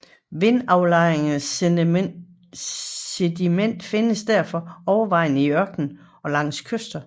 Vindaflejret sediment findes derfor overvejende i ørkener og langs kyster